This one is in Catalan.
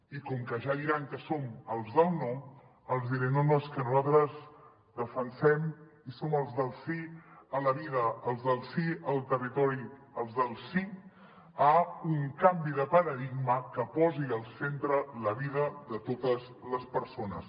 i com que ja diran que som els del no els diré no no és que nosaltres defensem i som els del sí a la vida els del sí al territori els del sí a un canvi de paradigma que posi al centre la vida de totes les persones